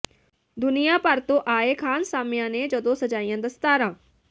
ਦੁਨੀਆਂ ਭਰ ਤੋਂ ਆਏ ਖਾਨਸਾਮਿਆਂ ਨੇ ਜਦੋਂ ਸਜਾਈਆਂ ਦਸਤਾਰਾਂ